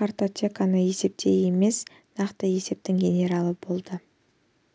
картотеканы есептейтін емес нақты есептің генералы болды